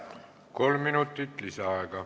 Kolm minutit lisaaega.